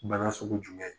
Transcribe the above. Bana sugu jumɛn